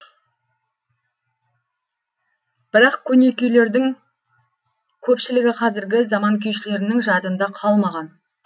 бірақ көне күйлердің көпшілігі қазіргі заман күйшілерінің жадында қалмаған